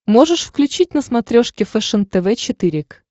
можешь включить на смотрешке фэшен тв четыре к